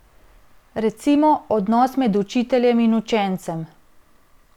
Recimo, odnos med učiteljem in učencem.